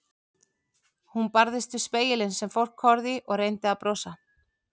Hún barðist við spegilinn sem fólk horfði í og reyndi að brosa.